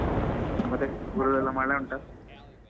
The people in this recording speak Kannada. ಮತ್ತೆ ಊರಲೆಲ್ಲಾ ಮಳೆ ಉಂಟಾ?